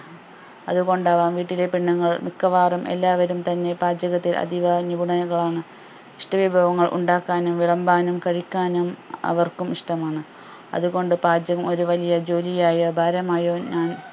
അതുകൊണ്ടാവാം വീട്ടിലെ പെണ്ണുങ്ങൾ മിക്കവാറും എല്ലാവരും തന്നെ പാചകത്തിൽ അധിക നിപുണന കാണും ഇഷ്ട്ട വിഭവങ്ങൾ ഉണ്ടാക്കാനും വിളമ്പാനും കഴിക്കാനും അവർക്കും ഇഷ്ട്ടമാണ് അതുകൊണ്ട് പാചകം ഒരു വലിയ ജോലിയായോ ഭാരമായോ ഞാൻ